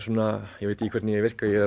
ég veit ekki hvernig ég virka ég er